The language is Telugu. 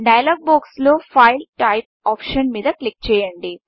డైలాగ్ బాక్స్ లో ఫైల్ టైప్ ఫైల్ టైప్ఆప్షన్ మీద క్లిక్ చేయండి